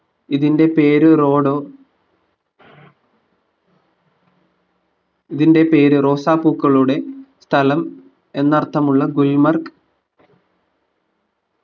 ഇതിന്റെ പേര് റോഡോ ഇതിന്റെ പേര് റോസാപൂക്കളുടെ സ്ഥലം എന്നർത്ഥമുള്ള ഗുൽമർഗ്